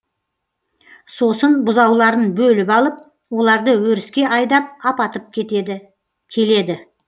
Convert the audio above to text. сосын бұзауларын бөліп алып оларды өріске айдап апатып келеді